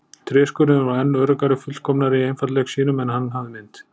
Tréskurðurinn var enn öruggari, fullkomnari í einfaldleik sínum en hann hafði minnt.